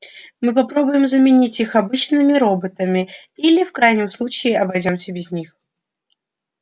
мы попробуем заменить их обычными роботами или в крайнем случае обойдёмся без них